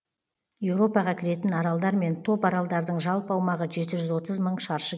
еуропаға кіретін аралдар мен топаралдардың жалпы аумағы жеті жүз отыз мың шаршы